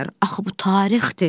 axı bu tarixdir.